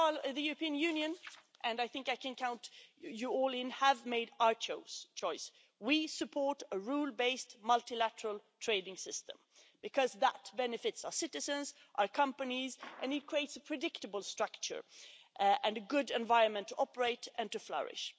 The European Union and I think I can count you all in have made a choice we support a rule based multilateral trading system, because that benefits our citizens, our companies, and it creates a predictable structure and a good environment to operate in and to flourish.